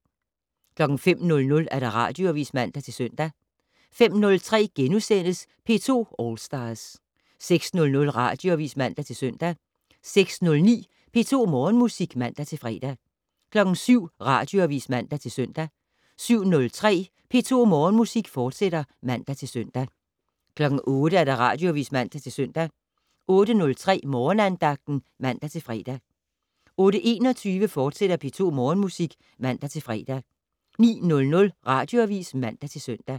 05:00: Radioavis (man-søn) 05:03: P2 All Stars * 06:00: Radioavis (man-søn) 06:09: P2 Morgenmusik (man-fre) 07:00: Radioavis (man-søn) 07:03: P2 Morgenmusik, fortsat (man-søn) 08:00: Radioavis (man-søn) 08:03: Morgenandagten (man-fre) 08:21: P2 Morgenmusik, fortsat (man-fre) 09:00: Radioavis (man-søn)